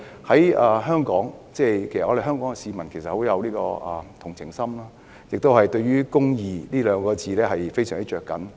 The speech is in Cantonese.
香港市民其實甚富同情心，對"公義"這兩個字亦非常着緊。